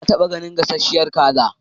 Na taɓa ganin gasasshiyar kaza.